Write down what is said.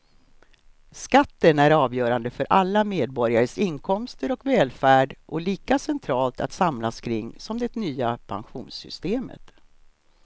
Skatten är avgörande för alla medborgares inkomster och välfärd och lika centralt att samlas kring som det nya pensionssystemet.